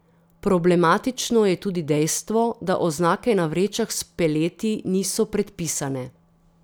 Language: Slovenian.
Problematično je tudi dejstvo, da oznake na vrečah s peleti niso predpisane.